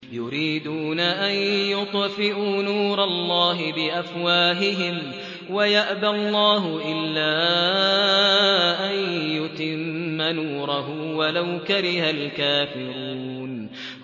يُرِيدُونَ أَن يُطْفِئُوا نُورَ اللَّهِ بِأَفْوَاهِهِمْ وَيَأْبَى اللَّهُ إِلَّا أَن يُتِمَّ نُورَهُ وَلَوْ كَرِهَ الْكَافِرُونَ